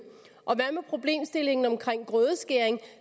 og hvad med problemstillingen omkring grødeskæring